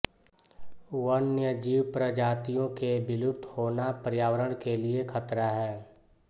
वन्यजीव प्रजातियों के विलुप्त होना पर्यावरण के लिए खतरा है